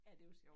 Ja det var sjov